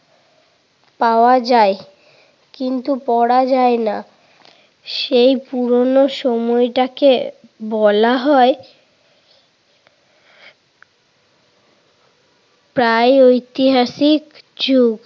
পাওয়া যায় কিন্তু পড়া যায় না। সেই পুরোনো সময়টাকে বলা হয় প্রাগৈতিহাসিক যুগ।